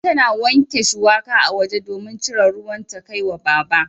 Mama tana wanke shuwaka a waje domin cire ruwan ta kai wa Baba.